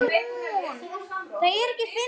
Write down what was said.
Hvað heldur fyrir honum vöku?